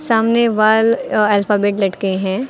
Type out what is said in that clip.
सामने wall alphabet लटके हैं।